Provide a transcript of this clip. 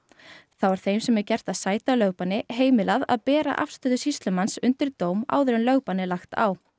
þá er þeim sem er gert að sæta lögbanni heimilað að bera afstöðu sýslumanns undir dóm áður en lögbann er lagt á